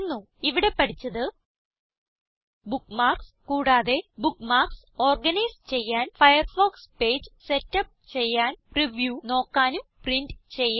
ഇവിടെ പഠിച്ചത് ബുക്ക്മാർക്സ് കൂടാതെ ബുക്ക്മാർക്സ് ഓർഗനൈസ് ചെയ്യാൻ ഫയർഫോക്സ് പേജ് സെറ്റപ്പ് ചെയ്യാൻ പ്രിവ്യൂ നോക്കാനും പ്രിന്റ് ചെയ്യാനും